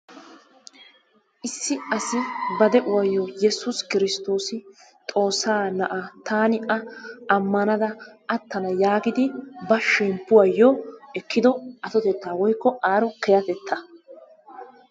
Issi asi ba de'uwayyo Yessuus Kristoos Xoossa na'aa taani a ammanada aattana yaagidi ba shemppuwayyo ekkido attotetta woykko aaro kehatettaa.